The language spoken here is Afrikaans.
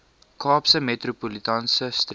kaapse metropolitaanse streek